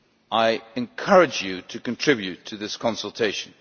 I encourage you to contribute to this consultation.